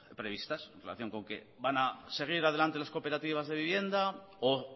previstas en relación con que van a seguir adelante las cooperativas de vivienda o